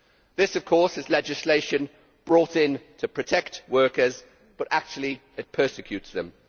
This of course is legislation brought in to protect workers, but actually it persecutes them.